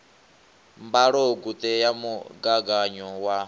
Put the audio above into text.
mbalogu ṱe ya mugaganyo wa